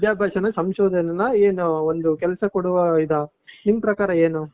ವಿದ್ಯಾಭ್ಯಾಸನ, ಸಂಶೋದನೆನ ಏನು ಒಂದು ಕೆಲ್ಸ ಕೊಡುವ ಇದಾ, ನಿಮ್ ಪ್ರಕಾರ ಏನು .